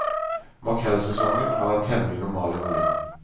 Makrellsesongen har vært temmelig normal i volum.